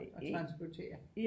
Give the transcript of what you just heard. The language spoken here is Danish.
Og transportere